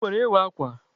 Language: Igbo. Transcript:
E nwere Ịwa akwa.